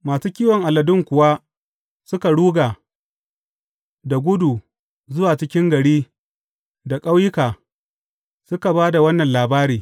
Masu kiwon aladun kuwa suka ruga da gudu zuwa cikin gari da ƙauyuka, suka ba da wannan labari.